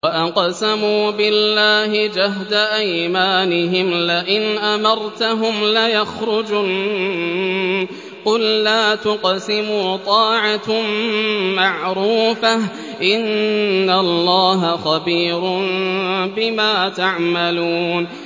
۞ وَأَقْسَمُوا بِاللَّهِ جَهْدَ أَيْمَانِهِمْ لَئِنْ أَمَرْتَهُمْ لَيَخْرُجُنَّ ۖ قُل لَّا تُقْسِمُوا ۖ طَاعَةٌ مَّعْرُوفَةٌ ۚ إِنَّ اللَّهَ خَبِيرٌ بِمَا تَعْمَلُونَ